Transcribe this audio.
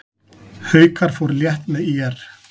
Haukar fóru létt með ÍR